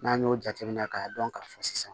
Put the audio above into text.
N'an y'o jateminɛ k'a dɔn ka fɔ sisan